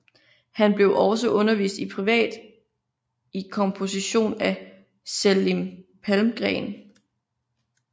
Han blev også undervist privat i komposition af Selim Palmgren